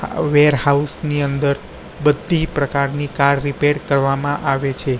Warehouse ની અંદર બધી પ્રકારની કાર રિપેર કરવામાં આવે છે.